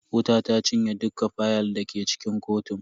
Wuta ta cinye dukka fayal dake cikin kotun.